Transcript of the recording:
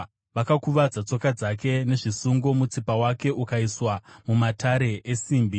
Vakakuvadza tsoka dzake nezvisungo mutsipa wake ukaiswa mumatare esimbi,